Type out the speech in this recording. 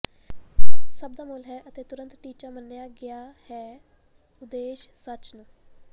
ਸਭ ਦਾ ਮੁੱਲ ਹੈ ਅਤੇ ਤੁਰੰਤ ਟੀਚਾ ਮੰਨਿਆ ਗਿਆ ਹੈ ਉਦੇਸ਼ ਸੱਚ ਨੂੰ